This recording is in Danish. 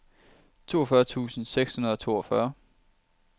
toogfyrre tusind seks hundrede og toogfyrre